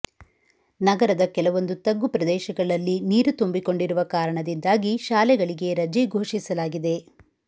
ನಗರದ ಕೆಲವೊಂದು ತಗ್ಗು ಪ್ರದೇಶಗಳಲ್ಲಿ ನೀರು ತುಂಬಿಕೊಂಡಿರುವ ಕಾರಣದಿಂದಾಗಿ ಶಾಲೆಗಳಿಗೆ ರಜೆ ಘೋಷಿಸಲಾಗಿದೆ